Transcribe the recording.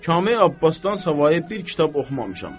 Kamil Abbasdan savayı bir kitab oxumamışam.